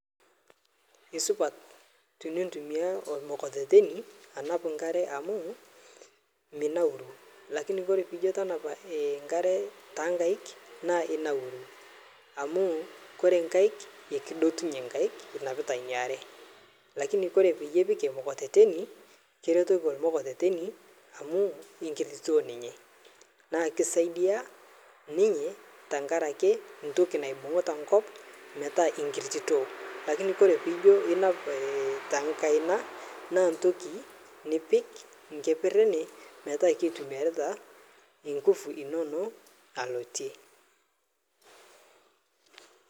Kesupat tunutumia lmokokoteni anap nkare amuu minauru, lakini kore panijo tanapa nkare taankaik naa inauru amuu kore nkaik kudotunye nkaik inapita niare, lakini kore piepik lmokokoteni kiretoki lmokokoteni amuu inkiritito ninye naa kisaidia ninye tangarake ntoki naibung; ta nkop metaa ingititoo lakini kore pijo inap takaina naa ntoki nipik nkeper ene pataa ketumiarita nguvu inonoo alotie.